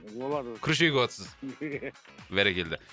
олар күріш егіватсыз бәрекелді